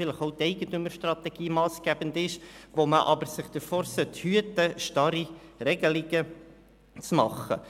Vielleicht ist auch die Eigentümerstrategie massgebend.